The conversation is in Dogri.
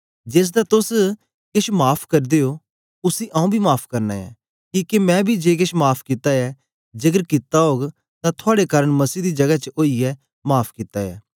जेसदा तोस केछ माफ़ करदे ओ उसी आंऊँ बी माफ़ करना ऐं किके मैं बी जे केछ माफ़ कित्ता ऐ जेकर कित्ता ओग तां थुआड़े कारन मसीह दी जगै च ओईयै माफ़ कित्ता ऐ